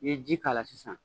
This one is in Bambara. I ye ji k'a la sisan